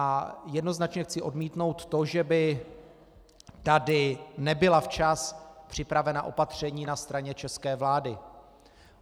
A jednoznačně chci odmítnout to, že by tady nebyla včas připravena opatření na straně české vlády.